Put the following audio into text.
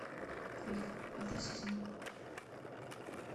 крик пятый сезон